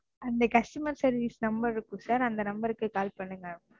அந்த Customer service number இருக்கும் Sir அந்த Number க்கு Call பண்ணுங்க.